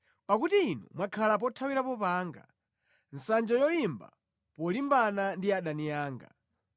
Pakuti Inu mwakhala pothawirapo panga, nsanja yolimba polimbana ndi adani anga.